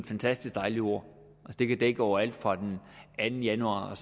fantastisk dejligt ord det kan dække over alt fra den anden januar og